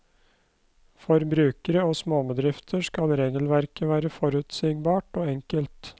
For brukere og småbedrifter skal regelverket være forutsigbart og enkelt.